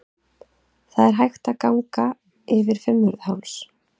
Það er hægt að ganga yfir Fimmvörðuháls.